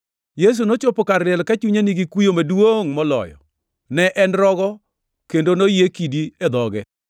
Yesu nochopo kar liel ka chunye nigi kuyo maduongʼ moloyo. Ne en rogo, kendo noyie kidi e dhoge.